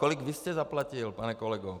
Kolik vy jste zaplatil, pane kolego?